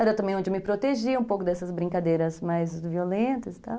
Era também onde eu me protegia um pouco dessas brincadeiras mais violentas e tal.